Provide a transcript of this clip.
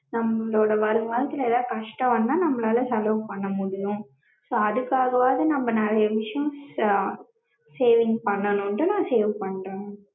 நம்மளோட வருங்காலத்துல ஏதாது கஷ்டம் வந்தா நம்மளால செலவு பண்ண முடியும். so அதுக்காகவாது நம்ம நெறையா விஷயம் அஹ் save பண்ணனும்னு தான் நா save பண்றேன்.